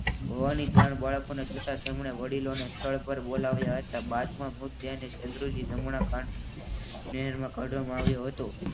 હોવાની જાણ થતા તેમણે વડીલોને સ્થળ પર બોલી લાવ્યા બાદમાં મૃતદેહને